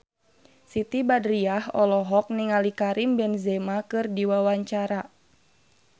Siti Badriah olohok ningali Karim Benzema keur diwawancara